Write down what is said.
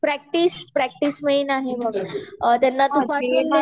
practice practice main आहे अ